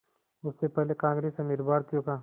उससे पहले कांग्रेस अमीर भारतीयों का